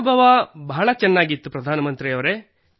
ಅನುಭ ಬಹಳ ಚೆನ್ನಾಗಿತ್ತು ಪ್ರಧಾನ ಮಂತ್ರಿಯವರೆ